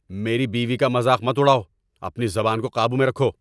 میری بیوی کا مذاق مت اڑاؤ! اپنی زبان کو قابو میں رکھو!